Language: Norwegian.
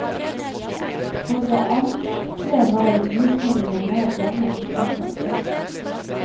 For det andre var visningene mer blandet på tvers av kjønn.